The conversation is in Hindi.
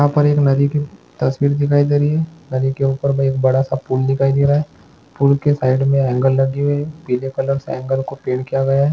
यहाँ पर एक नदी की तस्वीर दिखाई दे रही है नदी के ऊपर में एक बड़ा सा पूल दिखाई दे रहा है पूल के साइड में एंगल लगी हुई है पीले कलर से एंगल को पेंट किया गया है।